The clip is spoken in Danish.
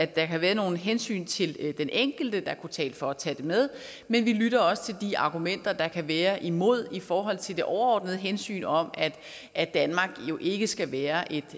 der kan være nogle hensyn til den enkelte der kunne tale for at tage det med men vi lytter også til de argumenter der kan være imod i forhold til det overordnede hensyn om at danmark jo ikke skal være